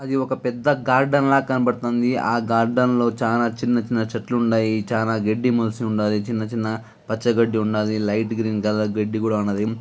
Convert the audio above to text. అది ఒక పెద్ద గార్డెన్ లా కనపడుతుందిఆ గార్డెన్ లో చానా చిన్న చిన్న చెట్లు ఉన్నాయ్చానా గడ్డి మొలిసి ఉండాదిచిన్న చిన్న పచ్చ గడ్డి ఉండాదిలైట్ గ్రీన్ కలర్ గడ్డి కూడా ఉన్నది.